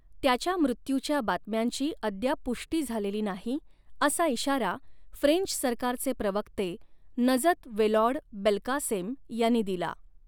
त्याच्या मृत्यूच्या बातम्यांची अद्याप पुष्टी झालेली नाही असा इशारा फ्रेंच सरकारचे प्रवक्ते नजत वॅलॉड बेल्कासेम यांनी दिला.